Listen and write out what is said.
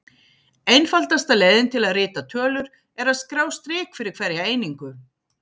Einfaldasta leiðin til að rita tölur er að skrá strik fyrir hverja einingu.